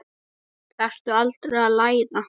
Þarftu aldrei að læra?